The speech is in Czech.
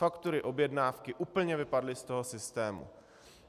Faktury, objednávky úplně vypadly z toho systému.